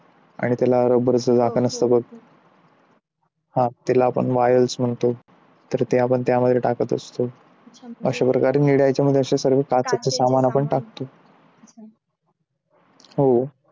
आणि त्याला rubber चं झाकण असतं बघ हा त्याला आपण while म्हणतो ते तर ते मला पण त्यात त्यामध्ये टाकत असतो तर अशा प्रकारे आपण निळ्या ह्याच्या मध्ये सगळे काचेचे सामान टाकत असतो हो